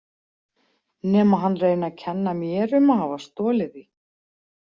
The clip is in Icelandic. Nema hann reyni að kenna mér um að hafa stolið því.